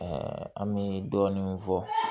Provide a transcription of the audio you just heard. an bɛ dɔɔnin min fɔ